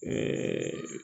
Ɛɛ